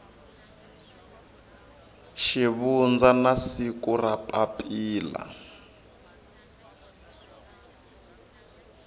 xivundza na siku ra papila